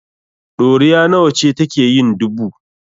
Ɗoriya nawa ce take yin dubu?